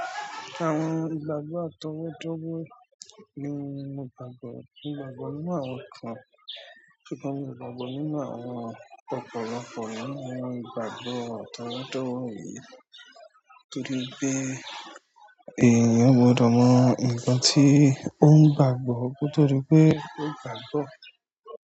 Àwọn ìgbàgbọ́ àtọwọ́dọ́wọ́ ni mo gbàgbọ́. Ìgbàgbọ́ ní àwọn nǹkan tí kò mọ̀, ìgbàgbọ́ ní àwọn ọ̀pọ̀lọpọ̀ nínú àwọn ìgbàgbọ́ àtọwọ́dọ́wọ́ nítorí pé èèyàn gbọdọ̀ mọ nǹkan tí ó ń gbàgbọ́ kó tó di pé ó gbàá gbọ́.